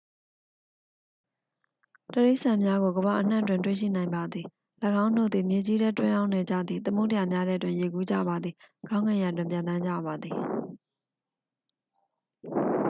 တိရစ္ဆာန်များကို ကမ္ဘာအနှံ့တွင် တွေ့ရှိနိုင်ပါသည် ၎င်းတို့သည် မြေကြီးထဲ တွင်းအောင်းနေကြသည် သမုဒ္ဒရာများထဲတွင် ရေကူးကြပါသည် ကောင်းကင်ယံတွင် ပျံသန်းကြပါသည်